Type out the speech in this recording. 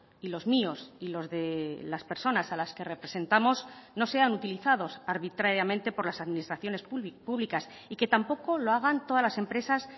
y los míos y los de las personas a las que representamos no sean utilizados arbitrariamente por las administraciones públicas y que tampoco lo hagan todas las empresas